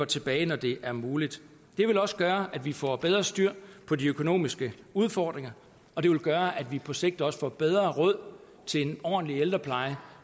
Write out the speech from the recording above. tilbage når det er muligt det vil også gøre at vi får bedre styr på de økonomiske udfordringer og det vil gøre at vi på sigt også får bedre råd til en ordentlig ældrepleje